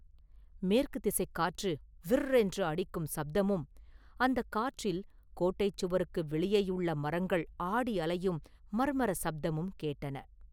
மேற்குத் திசைக் காற்று ‘விர்’ என்று அடிக்கும் சப்தமும், அந்தக் காற்றில் கோட்டைச் சுவருக்கு வெளியேயுள்ள மரங்கள் ஆடி அலையும் ‘மர்மர’ சப்தமும் கேட்டன.